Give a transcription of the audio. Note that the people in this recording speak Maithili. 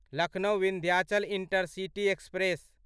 Lucknow Vindhyachal intercity express